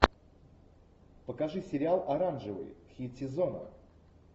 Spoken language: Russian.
покажи сериал оранжевый хит сезона